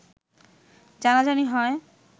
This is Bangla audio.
জানাজানি হয়